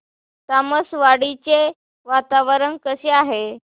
तामसवाडी चे वातावरण कसे आहे